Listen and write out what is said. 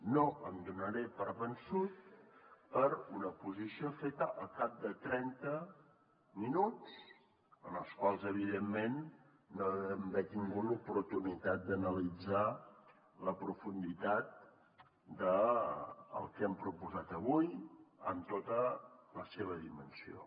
no em donaré per vençut per una posició feta al cap de trenta minuts en els quals evidentment no deuen haver tingut l’oportunitat d’analitzar la profunditat del que hem proposat avui en tota la seva dimensió